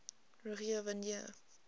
rogier van der